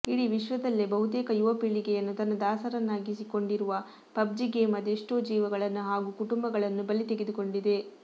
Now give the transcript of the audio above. ಇಡಿ ವಿಶ್ವದಲ್ಲೇ ಬಹುತೇಕ ಯುವ ಪೀಳಿಗೆಯನ್ನು ತನ್ನ ದಾಸರನ್ನಾಗಿಸಿಕೊಂಡಿರುವ ಪಬ್ಜಿ ಗೇಮ್ ಅದೆಷ್ಟೋ ಜೀವಗಳನ್ನು ಹಾಗೂ ಕುಟುಂಬಗಳನ್ನು ಬಲಿ ತೆಗೆದುಕೊಂಡಿದೆ